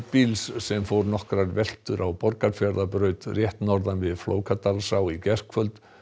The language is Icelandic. bíls sem fór nokkrar veltur á Borgarfjarðarbraut rétt norðan við Flókadalsá í gærkvöld